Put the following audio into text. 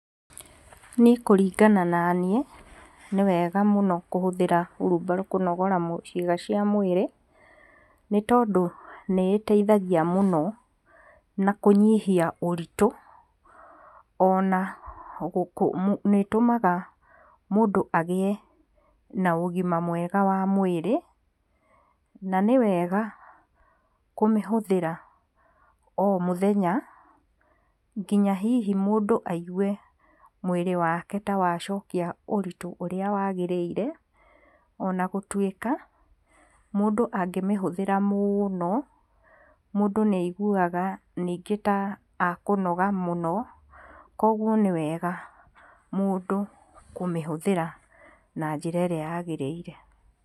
Niĩ kũringana na niĩ nĩ wega mũno kũhũthira wheelbarrow kũnogora ciaĩga cia mwĩrĩ nĩ tondũ nĩ iteithagia mũno na kũnyihia ũritũ ona nĩ ĩtũmaga mũndũ agĩe na ũgima mwega wa mwĩrĩ. Na nĩ wega kũmĩhũthĩra o mũthenya nginya hihi mũndũ aigue mwĩrĩ wake ta wacokia ũritũ ũrĩa wagĩrĩire. Ona gũtuĩka mũndũ angĩmĩhũthĩra mũno mũndũ nĩ aiguaga ningĩ tra akũnoga mũno koguo nĩ wega mũndũ kũmĩhũthĩra na njĩra ĩrĩa yagĩrĩire.